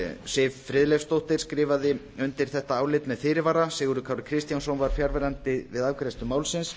siv friðleifsdóttir skrifaði undir þetta álit með fyrirvara sigurður kári kristjánsson var fjarverandi við afgreiðslu málsins